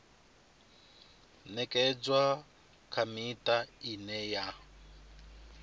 ṅekedzwa kha miṱa ine ya